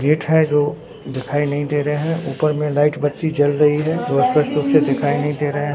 gate है जो दिखाई नहीं दे रहे हैं ऊपर में लाइट बत्ती जल रही है जो स्पष्ट रूप से दिखाई नहीं दे रहे--